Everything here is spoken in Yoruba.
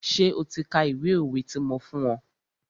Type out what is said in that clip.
Ṣé o ti ka ìwé òwe ti mo fún ọ?